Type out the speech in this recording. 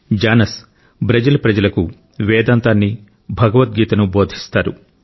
జానస్ Brazil ప్రజలకు వేదాంతాన్ని భగవద్గీతను బోధిస్తారు